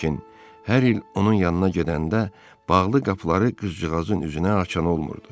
Lakin hər il onun yanına gedəndə bağlı qapıları qızcığazın üzünə açan olmurdu.